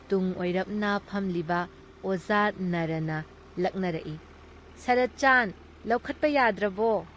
ꯇꯨꯡ ꯑꯣꯏꯔꯞꯅ ꯐꯝꯂꯤꯕ ꯑꯣꯖꯥ ꯅꯥꯔꯥꯅ ꯂꯛꯅꯔꯛꯏ- "ꯁꯔꯠꯆꯥꯟ, ꯂꯧꯈꯠꯄ ꯌꯥꯗ꯭ꯔꯕꯣ?"